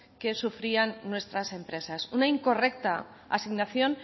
que sufrían nuestras empresas una incorrecta asignación